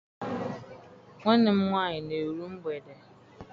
Nwanne m nwaanyị na-eru mgbede.